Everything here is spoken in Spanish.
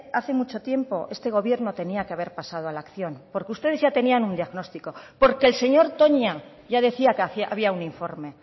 hace mucho tiempo este gobierno tenía que haber pasado a la acción porque ustedes ya tenían un diagnóstico porque el señor toña ya decía que había un informe